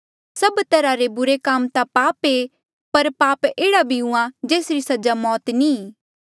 सब तरहा रा बुरे काम ता पाप आ पाप एह्ड़ा भी हुआ जेसरी सजा मौत नी ई